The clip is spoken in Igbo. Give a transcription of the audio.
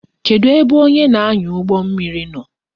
Kedu ebe onye na-anya ụgbọ mmiri nọ?